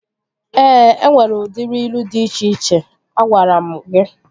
Ee, enwere udiri ilu dị iche iche. Agwaranu m gị